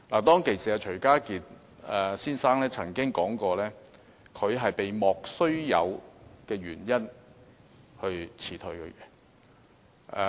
當時，徐家傑先生曾表示，他是被"莫須有"的原因辭退。